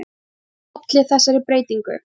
Hvað olli þessari breytingu?